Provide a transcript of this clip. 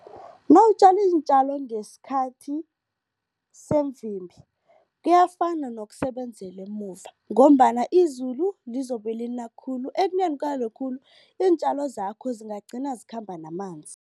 Nawutjala iintjalo ngesikhathi semvimbi, kuyafana nokusebenzela emuva ngombana izulu lizobe lina khulu. Ekuneni kwalo khulu, iintjalo zakho zingagcina zikhamba namanzi.